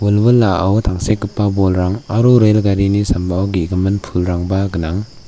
wilwilao tangsekgipa bolrang aro rel garini sambao ge·gimin pulrangba gnang.